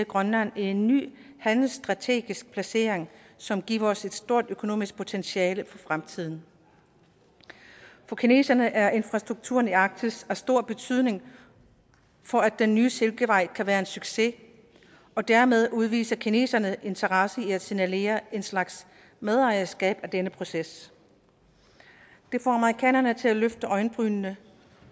grønland en ny handelstrategisk placering som giver os et stort økonomisk potentiale for fremtiden for kineserne er infrastrukturen i arktis af stor betydning for at den nye silkevej kan være en succes og dermed udviser kineserne interesse i at signalere en slags medejerskab af denne proces det får amerikanerne til at løfte øjenbrynene